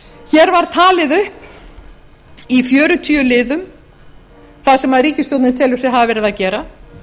hér var talið upp í fjörutíu liðum það sem ríkisstjórnin telur sig hafa leið að gera